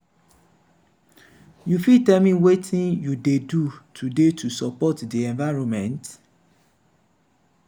you fit tell me wetin you dey do today to support di environment?